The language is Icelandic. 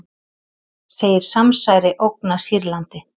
Segir samsæri ógna Sýrlandi